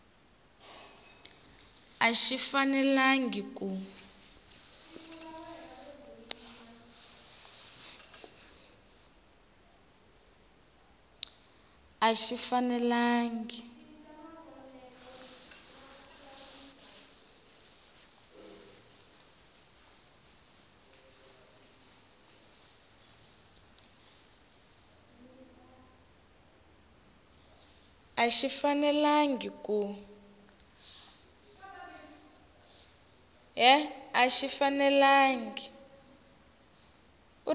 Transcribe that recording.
a xi fanelangi ku